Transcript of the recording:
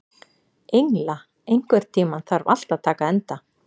Engla, einhvern tímann þarf allt að taka enda.